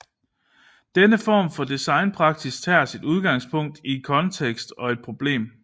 Denne form for designpraksis tager sit udgangspunkt i en kontekst og et problem